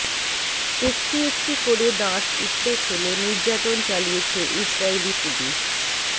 একটি একটি করে দাঁত উপড়ে ফেলে নির্যাতন চালিয়েছে ইসরাইলি পুলিশ